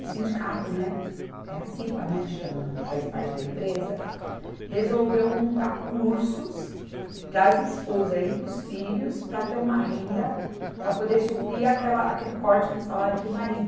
O sindicato, né, é a Cipa né, que chama, que faz parte da empresa, resolveu montar cursos para as esposas e para os filhos para ter uma renda para poder suprir aquela, aquele corte no salário do marido.